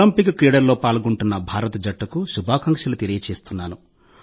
Olympic క్రీడల్లో పాల్గొంటున్న భారత జట్టుకు శుభాకాంక్షలు తెలియజేస్తున్నాను